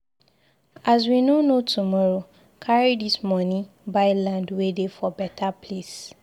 As we no know tomorrow, carry dis moni buy land wey dey for beta place.